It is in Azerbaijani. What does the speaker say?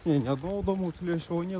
Nə yox, yox, gəl, bir də.